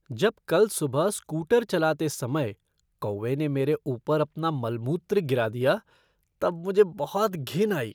जब कल सुबह स्कूटर चलाते समय कौवे ने मेरे ऊपर अपना मलमूत्र गिरा दिया तब मुझे बहुत घिन आई।